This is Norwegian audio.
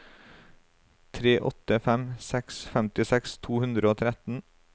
tre åtte fem seks femtiseks to hundre og tretten